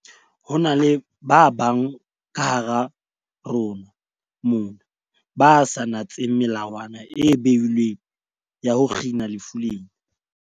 Ho na le ba bang kahara rona mona ba sa natseng melawana e beilweng ya ho kgina lefu lena.